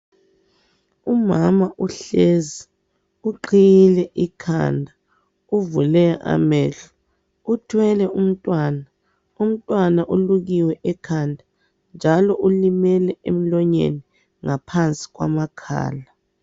Umama uhlezi, uqhiyile ikhanda, uvule amehlo, uthwele umntwana, umntwana ulukiwe ekhanda njalo ulimele emlonyeni, ngaphansi kwamakhala.